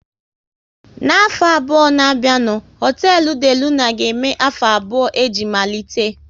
N'afọ abụọ na bịa nụ, hotelu De Luna ga eme afọ abụọ o ji malite